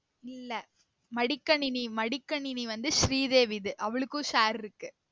இல்ல மடிக்கணினி மடிக்கணினி வந்து ஸ்ரீதேவி இது அவளுக்கும் share இருக்கு